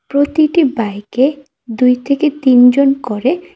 প্রতিটি বাইকে দুই থেকে তিনজন করে--